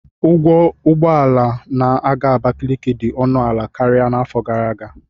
Ụgwọ ụgbọ ala na-aga Abakiliki dị ọnụ ala karịa n'afọ gara aga